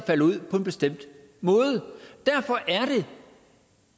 falder ud på en bestemt måde derfor